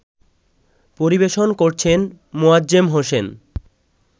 পরিবেশন করছেন মোয়াজ্জেম হোসেন